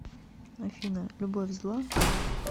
афина любовь зла